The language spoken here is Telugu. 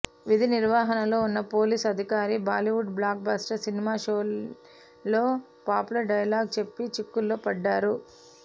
విధి నిర్వహణలో ఉన్న పోలీస్ అధికారి బాలీవుడ్ బ్లాక్ బస్టర్ సినిమా షోలేలో పాపులర్ డైలాగ్ చెప్పి చిక్కుల్లో పడ్డారు